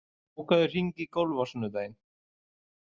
, bókaðu hring í golf á sunnudaginn.